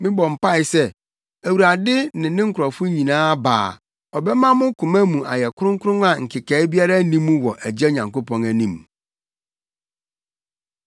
Mebɔ mpae sɛ Awurade ne ne nkurɔfo nyinaa ba a, ɔbɛma mo koma mu ayɛ kronkron a nkekae biara nni mu wɔ Agya Nyankopɔn anim.